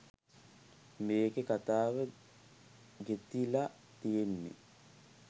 මේකෙ කතාව ගෙතිල තියෙන්නෙ